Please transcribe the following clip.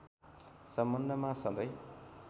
सम्बन्धमा सधैं